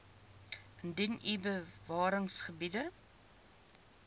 indien u bewaringsgebiede